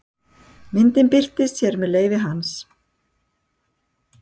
Myndin birtist hér með leyfi hans.